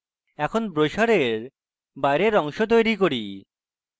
এখন ব্রোসারের বাইরের অংশ তৈরী করি